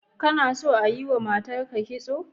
Kana son a yiwa matarka kitso?